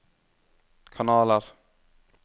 kanaler